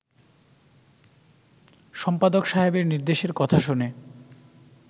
সম্পাদক সাহেবের নির্দেশের কথা শুনে